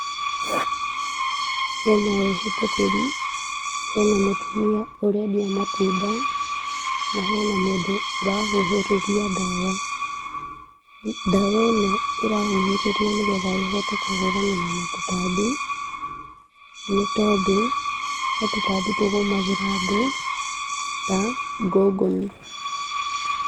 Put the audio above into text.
Hena ehĩtũkĩri, hena mũtumia ũrendia matunda na hena mũndũ ũrahuhĩrĩria ndawa, ndawa ĩno irahuhĩrĩrio, nĩgetha ĩhote kũhũrana na tũtambi, nĩ tondũ he tũtambi tũgũmagĩra andũ ta ngũngũni.